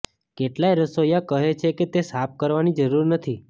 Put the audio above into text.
કેટલાક રસોઈયા કહે છે કે તે સાફ કરવાની જરૂર નથી